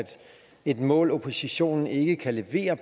et mål oppositionen ikke kan levere